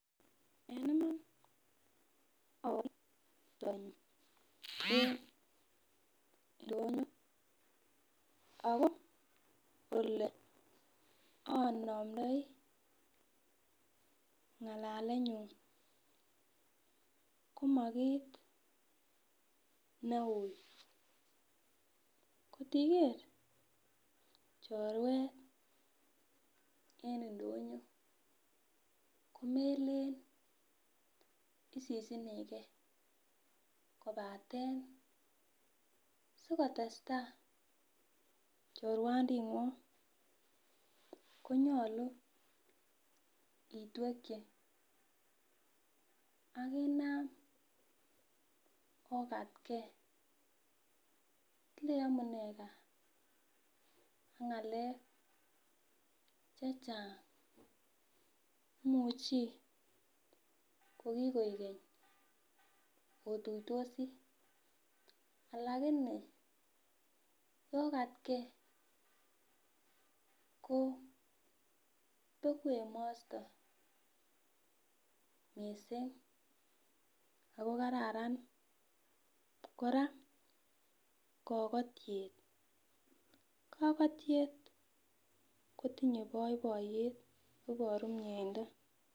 En iman akotin chorwenyun en ndonyo ako ole anamndoi ng'alalenyun koma kit neui ngot iker chorwet en ndonyo, komeleen isisinikee kobaten sikotes taa chorwandingwong konyolu itwekyi akinam okatge ilei amunee gaa ak ng'alek chechang imuchi ko kikoik keny otuitosi alakini yokatge koo bekuu emosto missing ako kararan kora kokotiet, kokotiet kotinye boiboiyet iboru mieindoo.